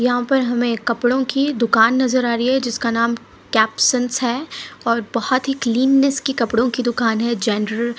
यहां पर हमे एक कपड़ो कि दुकान नज़र आ रही है जिसका नाम कैप्सेंस है और बहुत ही क्लीनेंस की कपड़ो की दुकान है जेनरल --